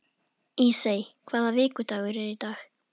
Ísey, hvaða vikudagur er í dag?